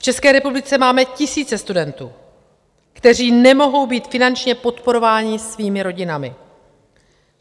V České republice máme tisíce studentů, kteří nemohou být finančně podporováni svými rodinami.